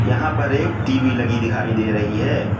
यहां पर एक टी_वी लगी दिखाई दे रही है।